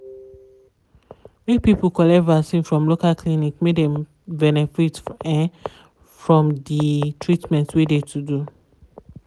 people collect vaccin from local clinic make dem benefit um from de treatment wey de to do.